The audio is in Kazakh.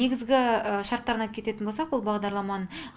негізгі шарттарын айт кететін болсақ бұл бағдарламаның